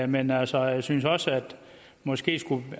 men altså jeg synes også der måske skulle